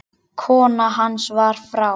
Kona hans var frá